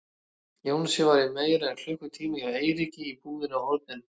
Jónsi var í meira en klukkutíma hjá Eiríki í búðinni á horninu.